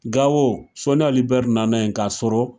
Gawo Soni Ali Bɛri nana yen k'a sɔrɔ